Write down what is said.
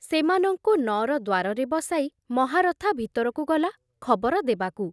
ସେମାନଙ୍କୁ ନଅର ଦ୍ଵାରରେ ବସାଇ ମହାରଥା ଭିତରକୁ ଗଲା ଖବର ଦେବାକୁ।